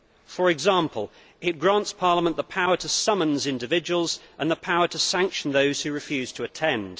For example, it grants Parliament the power to summons individuals and the power to sanction those who refuse to attend.